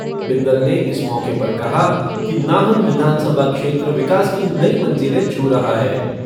बिंदल ने इस मौके पर कहा कि नाहन विधानसभा क्षेत्र विकास की नई मंजिलें छू रहा है।